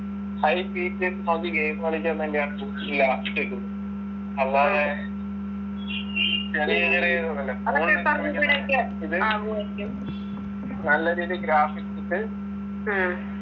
high speed jet നകത്ത് game കളിക്കാൻ തന്നെയാണ് choose എയ്യാ ഇതൊക്കേം അല്ലാതെ നല്ല രീതി graphics ഉണ്ട്